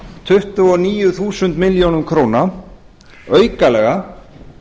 tuttugu og níu þúsund milljónum króna aukalega